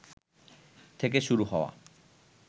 থেকে শুরু হওয়া